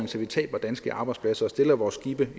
så vi taber danske arbejdspladser og stiller vores skibe